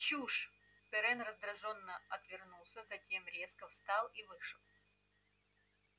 чушь пиренн раздражённо отвернулся затем резко встал и вышел